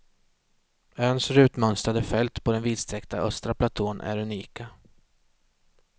Öns rutmönstrade fält på den vidsträckta östra platån är unika.